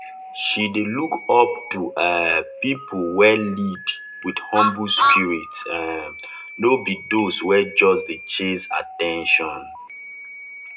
she dey look up to um people wey lead with humble spirit um no be those wey just dey chase at ten tion.